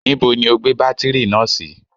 Níbo ni o gbé bátírì náà sí?